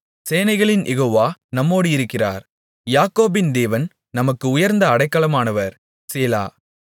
சேனைகளின் யெகோவா நம்மோடிருக்கிறார் யாக்கோபின் தேவன் நமக்கு உயர்ந்த அடைக்கலமானவர் சேலா